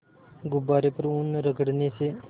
गुब्बारे पर ऊन रगड़ने से